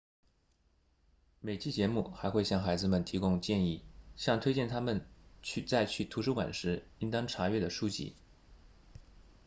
每期节目还会向孩子们提供建议向推荐他们在去图书馆时应当查阅的书籍